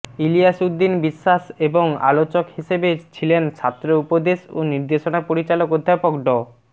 ইলিয়াস উদ্দিন বিশ্বাস এবং আলোচক হিসেবে ছিলেন ছাত্র উপদেশ ও নির্দেশনা পরিচালক অধ্যাপক ড